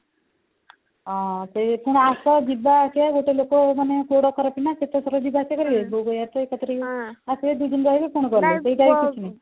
ହଁ ସେ ପୁଣି ଆସ ଯିବା ଆସିବା ଗୋଟେ ଲୋକର ମାନେ ଗୋଡ ଖରାପ ନା କେତେ ଥର ଯିବା ଆସିବା କରିବେ ବୋଉ କହିବ କଥା ଏକାଥରେ ଆସିବେ ଦୁଇଦିନ ରହିବେ ପୁଣି ଗଲେ ସେଇଟାରେ କିଛି ନାଇଁ